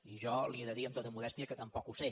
i jo li he de dir amb tota modèstia que tampoc no ho sé